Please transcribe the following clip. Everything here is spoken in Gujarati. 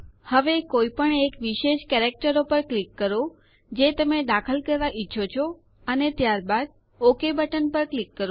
હવે કોઈ પણ એક વિશેષ કેરેક્ટરો પર ક્લિક કરો જે તમે દાખલ કરવા ઈચ્છો છો અને ત્યારબાદ ઓક બટન પર ક્લિક કરો